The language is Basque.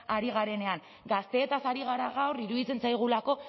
ari garenean gazteetaz ari gara gaur iruditzen zaigulako